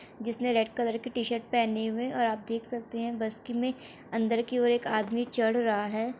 जिसने red colour की t shirt और आप देख सकते हैं बस में अंदर की ओर एक आदमी चड़ रहा है।